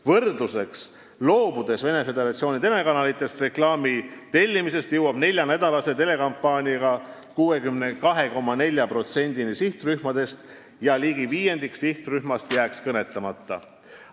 Võrdluseks, et loobudes reklaami tellimisest Venemaa Föderatsiooni telekanalitelt, jõuaksime neljanädalase telekampaaniaga 62,4%-ni sihtrühmast, st ligi viiendik sihtrühmast jääks kõnetamata.